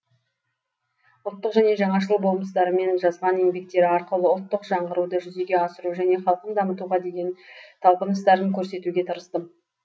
ұлттық және жаңашыл болмыстарымен жазған еңбектері арқылы ұлттық жаңғыруды жүзеге асыру және халқын дамытуға деген талпыныстарын көрсетуге тырыстым